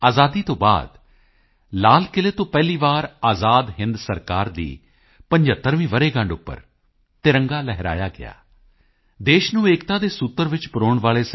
ਆਜ਼ਾਦੀ ਤੋਂ ਬਾਅਦ ਲਾਲ ਕਿਲ੍ਹੇ ਤੋਂ ਪਹਿਲੀ ਵਾਰ ਆਜ਼ਾਦ ਹਿੰਦ ਸਰਕਾਰ ਦੀ 75ਵੀਂ ਵਰ੍ਹੇਗੰਢ ਉੱਪਰ ਤਿਰੰਗਾ ਲਹਿਰਾਇਆ ਗਿਆ ਦੇਸ਼ ਨੂੰ ਏਕਤਾ ਦੇ ਸੂਤਰ ਚ ਪਰੋਣ ਵਾਲੇ ਸ